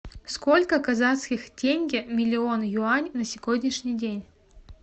сколько казахских тенге миллион юань на сегодняшний день